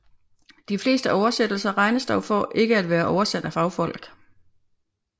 De fleste oversættelser regnes dog for at ikke være oversat af fagfolk